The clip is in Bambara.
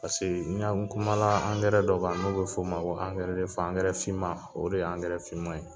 Paseke n'i y'a ye n kumala angɛrɛ dɔ kan , n'o bɛ f'o ma ko angɛrɛ angɛrɛ finman o de ye angɛrɛ finman ye.